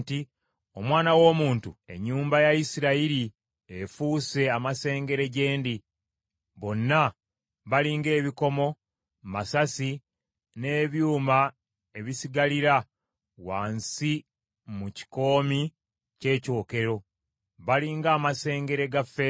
“Omwana w’omuntu, ennyumba ya Isirayiri efuuse amasengere gye ndi; bonna bali ng’ebikomo, masasi, n’ebyuma ebisigalira wansi mu kikoomi ky’ekyokero. Bali ng’amasengere ga ffeeza.